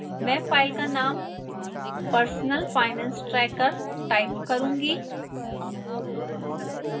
मैं फाइल का name personalfinancetracker type करूंगी